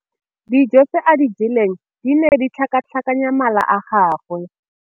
Dijô tse a di jeleng di ne di tlhakatlhakanya mala a gagwe.